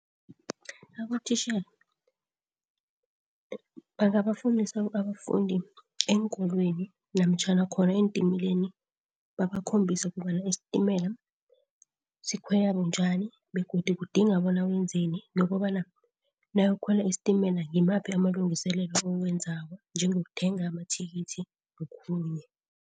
Abotitjhere bangabafundisa abafundi eenkolweni namtjhana khona eentimeleni, babakhombise ukobana isitimela sikhwele bunjani begodu kudinga bona wenzeni nokobana nawuyokukhwela isitimela ngimaphi amalungiselelo owenzako njengokuthenga amathikithi nokhunye.